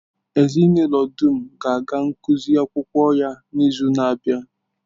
Ezinụlọ dum ga-aga ngụsị akwụkwọ ya n'izu na-abịa.